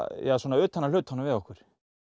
utan af hlutunum við okkur